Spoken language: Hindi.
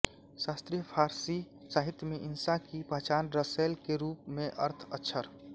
शास्त्रीय फ़ारसी साहित्य में इंशा की पहचान रसैल के रूप में है अर्थ अक्षर